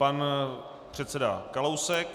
Pan předseda Kalousek.